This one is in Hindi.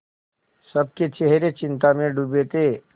सबके चेहरे चिंता में डूबे थे